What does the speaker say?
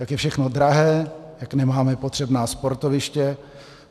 Jak je všechno drahé, jak nemáme potřebná sportoviště.